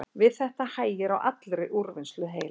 Við þetta hægir á allri úrvinnslu heilans.